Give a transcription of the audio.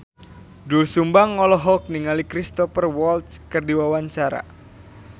Doel Sumbang olohok ningali Cristhoper Waltz keur diwawancara